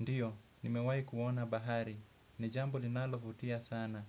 Ndiyo, nimewayi kuona bahari. Nijambo linalo vutia sana.